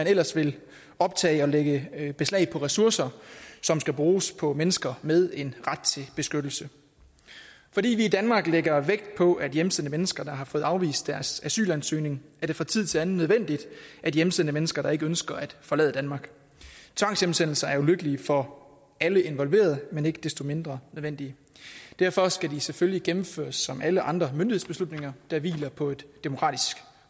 ellers vil optage og lægge beslag på ressourcer som skal bruges på mennesker med en ret til beskyttelse fordi vi i danmark lægger vægt på at hjemsende mennesker der har fået afvist deres asylansøgning er det fra tid til anden nødvendigt at hjemsende mennesker der ikke ønsker at forlade danmark tvangshjemsendelser er ulykkelige for alle involverede men ikke desto mindre nødvendige derfor skal de selvfølgelig gennemføres som alle andre myndighedsbeslutninger der hviler på et demokratisk